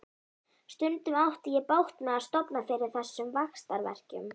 Stundum átti ég bágt með að sofna fyrir þessum vaxtarverkjum.